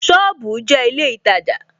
Sọ́ọ̀bù jẹ́ ilé ìtajà